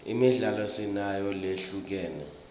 imidlalo sinayo lehlukene